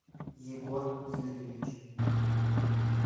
егор юрьевич